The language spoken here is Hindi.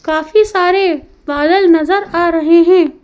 काफी सारे बादल नजर आ रहे हैं।